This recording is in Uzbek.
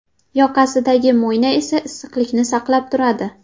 Yoqasidagi mo‘yna esa issiqlikni saqlab turadi.